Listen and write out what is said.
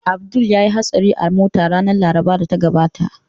Abdul ya yi hatsari a mota ranar Larabar da ta gabata